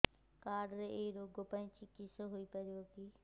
card ରେ ଏଇ ରୋଗ ପାଇଁ ଚିକିତ୍ସା ହେଇପାରିବ କି